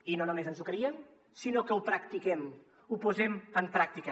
i no només ens ho creiem sinó que ho practiquem ho posem en pràctica